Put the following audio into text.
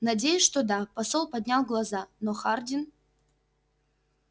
надеюсь что да посол поднял глаза но хардин